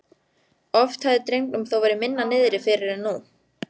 Oft hafði drengnum þó verið minna niðri fyrir en nú.